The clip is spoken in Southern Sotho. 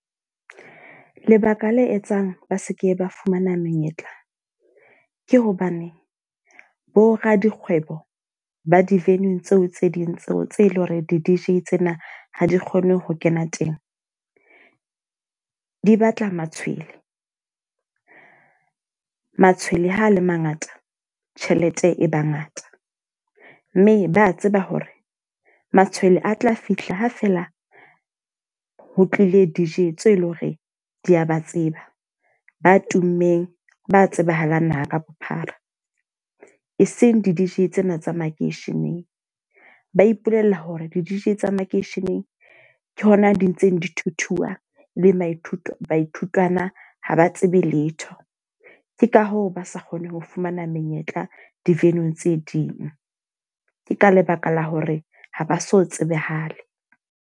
Lebaka le etsang ba seke ba fumana menyetla. Ke hobane bo radikgwebo ba di-venue tseo tse ding tseo tse leng hore di-D_J tsena ha di kgone ho kena teng. Di batla matshwele. Matshwele ha a le mangata tjhelete e ba ngata. Mme ba tseba hore matshwele a tla fihla ho fela ho tlile D_J tse leng hore di a ba tseba. Ba tummeng ba tsebahalang naha ka bophara. E seng di-D_J tsena tsa makeisheneng. Ba ipolella hore di-D_J tsa makeisheneng ke hona di ntseng dithuthuwa le baithu baithutwana haba tsebe letho. Ke ka hoo ba sa kgoneng ho fumana menyetla di-venue-ng tse ding. Ke ka lebaka la hore ha ba so tsebahale.